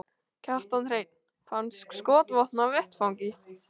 Kjartan Hreinn: Fannst skotvopn á vettvangi?